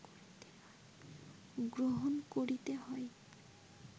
গ্রহণ করিতে হয়